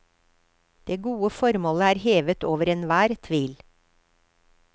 Det gode formålet er hevet over enhver tvil.